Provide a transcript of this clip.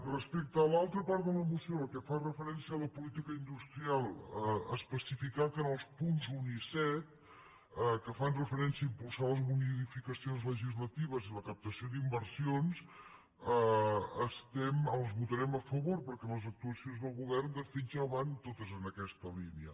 respecte a l’altra part de la moció la que fa referència a la política industrial especificar que en els punts un i set que fan referència a impulsar les modificacions le·gislatives i la captació d’inversions les votarem a fa·vor perquè les actuacions del govern de fet ja van totes en aquesta línia